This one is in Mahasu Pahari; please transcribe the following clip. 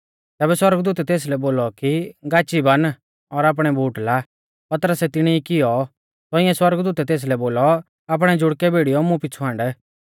तैबै सौरगदूतै तेसलै बोलौ कि गाची बान और आपणै बूट ला पतरसै तिणी कियौ तौंइऐ सौरगदूतै तेसलै बोलौ आपणै जुड़कै भिड़ीयौ मुं पिछ़ु हांड